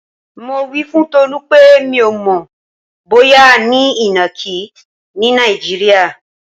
Mo wí fún Tolú pé mi ò mò̩ bóyá a ní ìnàkí ní Nàìjíríà.